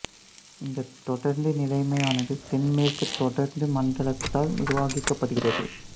இந்த தொடருந்து நிலையமானது தென் மேற்கு தொடருந்து மண்டலத்தால் நிர்வகிக்கப்படுகிறது